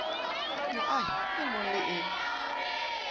moahi e mong le e